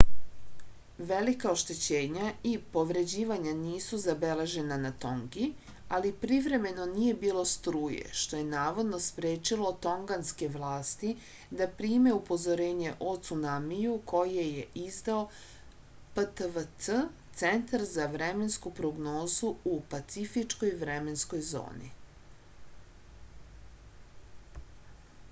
велика оштећења и повређивања нису забележена на тонги али привремено није било струје што је наводно спречило тонганске власти да приме упозорење о цунамију које је издао ptwc центар за временску прогнозу у пацифичкој временској зони